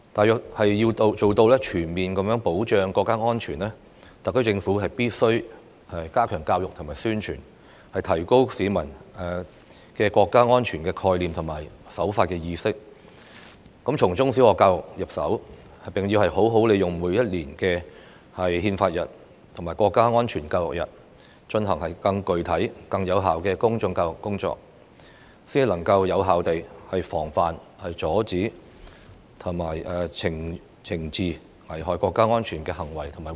但是，要做到全面保障國家安全，特區政府必須加強教育和宣傳，提高市民的國家安全概念和守法意識，這包括從中小學教育入手，並好好利用每年的憲法日和國家安全教育日，進行更具體、更有效的公眾教育工作，藉以有效地防範、阻止和懲治危害國家安危的行為和活動。